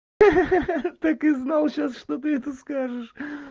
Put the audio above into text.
ха-ха так и знал сейчас что ты это скажешь